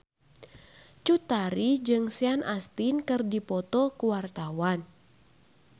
Cut Tari jeung Sean Astin keur dipoto ku wartawan